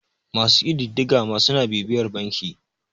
masu ƙididdiga ma suna bibiyar banki